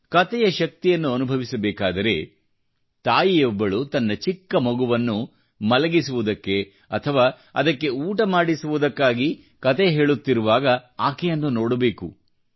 ಕತೆಯ ಶಕ್ತಿಯನ್ನು ಅನುಭವಿಸಬೇಕಾದರೆ ತಾಯಿಯೊಬ್ಬಳು ತನ್ನ ಚಿಕ್ಕ ಮಗುವನ್ನು ಮಲಗಿಸುವುದಕ್ಕೆ ಅಥವಾ ಅದಕ್ಕೆ ಊಟ ಮಾಡಿಸುವುದಕ್ಕಾಗಿ ಕತೆ ಹೇಳುತ್ತಿರುವಾಗ ಆಕೆಯನ್ನು ನೋಡಬೇಕು